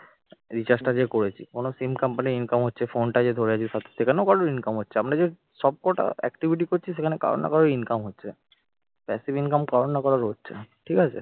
rechrge টা যে করেছি কোন sim company income হচ্ছে phone টা যে ধরে আছে সেখানেও কারো income হচ্ছে আমরা যে সবকটা activity করছি সেখানে কারো না কারো income হচ্ছে passive income কারো না কারো হচ্ছে। ঠিক আছে